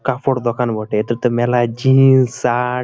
কাপড় দোকান বটে। এটাতে মেলায় জিইন্স শার্ট ।